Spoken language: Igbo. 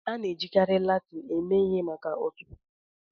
A na-ejikarị Latin eme ihe maka ọtụtụ okwu Iwu.